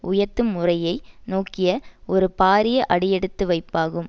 உயர்த்தும் முறையை நோக்கிய ஒரு பாரிய அடியெடுத்துவைப்பாகும்